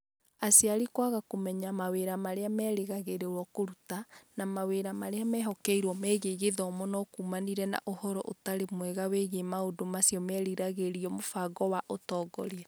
Aciari kwaga kũmenya mawĩra marĩa merĩgagĩrĩrũo kũruta, na mawĩra marĩa mehokeirũo megiĩ gĩthomo no kuumanire na Ũhoro ũtarĩ mwega wĩgiĩ maũndũ macio meriragĩrio mũbango wa ũtongoria.